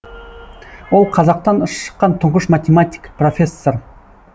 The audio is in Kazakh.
ол қазақтан шыққан тұңғыш математик профессор